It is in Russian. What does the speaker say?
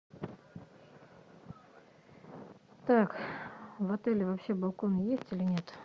так в отеле вообще балконы есть или нет